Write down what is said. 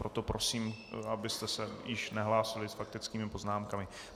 Proto prosím, abyste se již nehlásili s faktickými poznámkami.